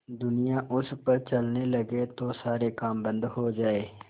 दुनिया उन पर चलने लगे तो सारे काम बन्द हो जाएँ